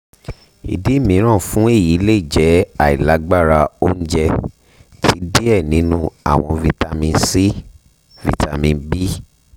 idi miiran fun eyi le jẹ ailagbara ounjẹ ti diẹ ninu awọn vitamin c vitamin b